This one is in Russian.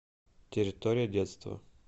территория детства